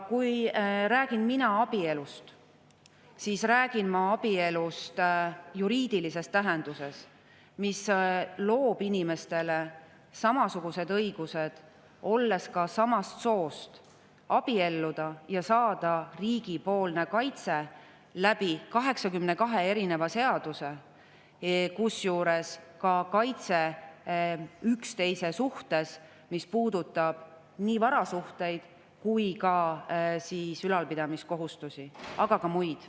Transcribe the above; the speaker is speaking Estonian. Kui mina räägin abielust, siis ma räägin abielust juriidilises tähenduses, mis loob inimestele samasugused õigused, kui nad on ka samast soost, abielluda ja saada riigi kaitse 82 seaduse abil, kusjuures ka kaitse üksteise suhtes, mis puudutab nii varasuhteid kui ka ülalpidamiskohustust, aga ka muud.